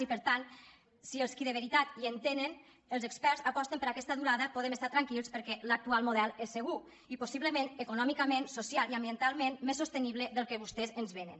i per tant si els qui de veritat hi entenen els experts aposten per aquesta durada podem estar tranquils perquè l’actual model és segur i possiblement econòmicament socialment i ambientalment més sostenible del que vostès ens venen